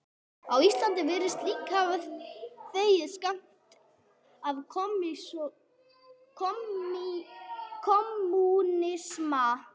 Ísland virðist líka hafa þegið skammt af kommúnisma